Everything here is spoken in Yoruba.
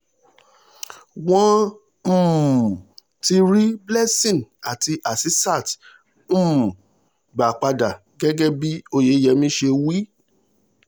wọ́n um ti rí blessing àti hasisat um gbà padà gẹ́gẹ́ bí oyeyẹmí ṣe wí